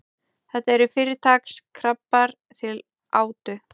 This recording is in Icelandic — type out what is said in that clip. þetta eru fyrirtaks krabbar til átu